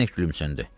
Zdenek gülümsündü.